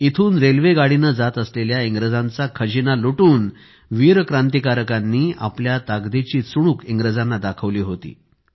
इथून रेल्वेगाडीने जात असलेल्या इंग्रजांचा खजिना लूटून वीर क्रांतिकारकांनी आपल्या ताकदीची चुणूक इंग्रजांना दाखवली होती